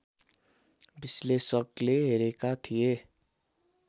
विश्लेषकले हेरेका थिए